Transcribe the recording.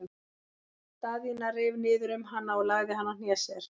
Daðína reif niður um hana og lagði hana á hné sér.